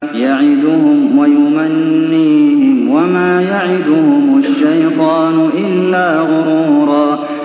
يَعِدُهُمْ وَيُمَنِّيهِمْ ۖ وَمَا يَعِدُهُمُ الشَّيْطَانُ إِلَّا غُرُورًا